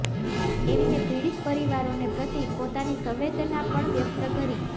એમને પીડિત પરિવારોને પ્રતિ પોતાની સંવેદના પણ વ્યક્ત કરી